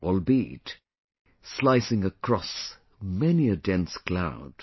Albeit...shining across many a dense cloud